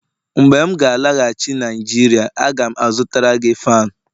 mgbe m ga-alaghachi Naijiria, a ga m azụtara gị fan